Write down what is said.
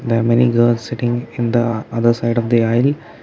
there are many girls sitting in the other side of the aisle.